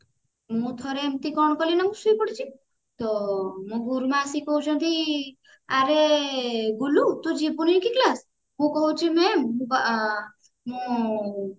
ମୁଁ ଥରେ ଏମିତି କଣ କଲି ନା ମୁଁ ଶୋଇପଡିଛି ତ ମୋ ଗୁରୁମା ଆସିକି କହୁଛନ୍ତି ଆରେ ଗୁଲୁ ତୁ ଯିବୁନି କି class ମୁଁ କହୁଛି mam ମୁଁ